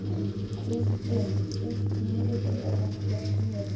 Kristvin, stilltu niðurteljara á þrjátíu mínútur.